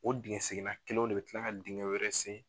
O dingɛ seginna kelenw de bɛ kila ka dingɛ wɛrɛ sen